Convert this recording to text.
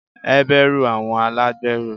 Heberu àwọn alagberẹ